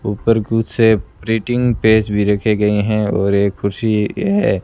ऊपर कुछ ए प्रिटिंग पेज भी रखे गए हैं और ये कुर्सी है।